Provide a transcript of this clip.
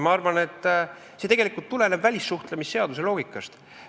Ma arvan, et tegelikult tuleneb see välissuhtlemisseaduse loogikast.